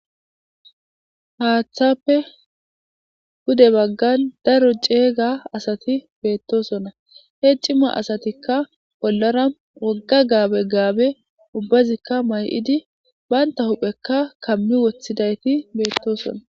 Haaththape pude bagan daro cega asati betosona he cima asatika bollara woga gabe ubazika mayidi banta hupheka kami wothidi betosona